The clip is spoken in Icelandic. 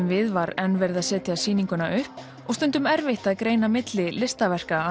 við var enn verið að setja sýninguna upp og stundum erfitt að greina milli listaverka